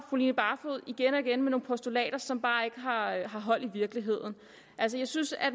fru line barfod igen og igen kommer med nogle postulater som bare ikke har hold i virkeligheden altså jeg synes at